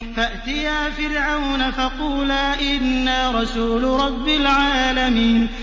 فَأْتِيَا فِرْعَوْنَ فَقُولَا إِنَّا رَسُولُ رَبِّ الْعَالَمِينَ